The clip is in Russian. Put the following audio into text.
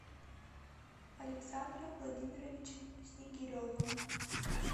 александром владимировичем снегиревым